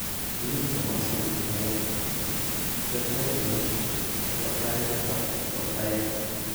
Mi kamaswek aeng', Jervell Lange nebo tai ak nebo aeng'.